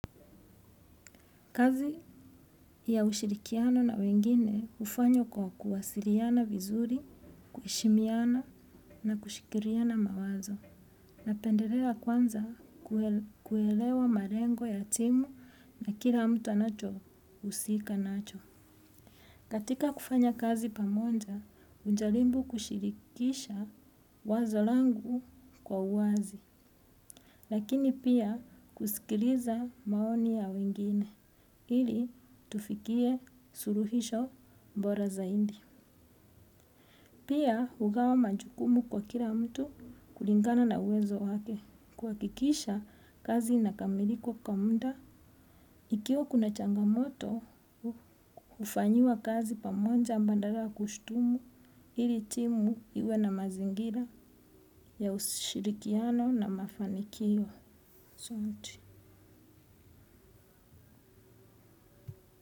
Kazi ya ushirikiano na wengine hufanywa kwa kuwasiliana vizuri, kuheshimiana na kushirikiana mawazo. Napendelea kwanza kuelewa malengo ya timu na kila mtu anacho husika nacho. Katika kufanya kazi pamoja, hujaribu kushirikisha wazo langu kwa uwazi. Lakini pia kusikiliza maoni ya wengine, ili tufikie suluhisho bora zaidi. Pia hugawa majukumu kwa kila mtu kulingana na uwezo wake, kuhakikisha kazi inakamilika kwa muda. Ikiwa kuna changamoto, hufanyiwa kazi pamoja badala ya kushutumu, ili timu iwe na mazingira ya ushirikiano na mafanikio.